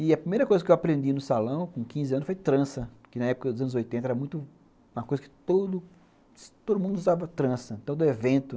E a primeira coisa que eu aprendi no salão com quinze anos foi trança, que na época dos anos oitenta era muito uma coisa que todo mundo usava trança, todo evento.